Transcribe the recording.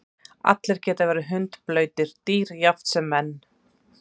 Allir geta verið hundblautir, dýr jafnt sem menn.